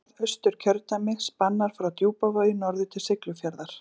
Norðausturkjördæmi spannar frá Djúpavogi norður til Siglufjarðar.